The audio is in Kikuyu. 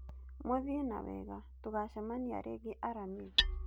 Mũthiĩ na wega, tũgacamania rĩngĩ aramithi.